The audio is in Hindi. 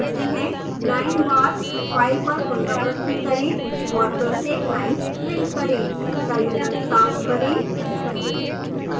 लाइन वार फाइल पर पुनरावृति करें और प्रत्येक लाइन्स प्रिंट करें